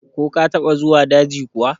Ko ka taɓa zuwa daji kuwa?